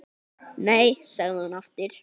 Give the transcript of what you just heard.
Nei, sagði hún aftur.